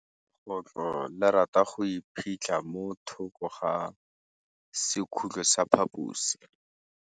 Legôtlô le rata go iphitlha mo thokô ga sekhutlo sa phaposi.